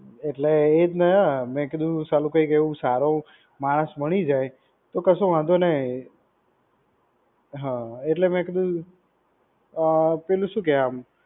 એટલે એ રીતના મેં કીધું સાલું કઈ એવું સારો માણસ મળી જાય તો કશું વાંધો નહી હઅ એટલે મેં કીધું અ અ પેલું શું કેવાય